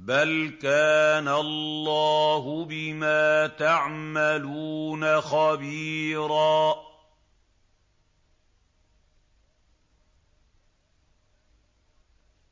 بَلْ كَانَ اللَّهُ بِمَا تَعْمَلُونَ خَبِيرًا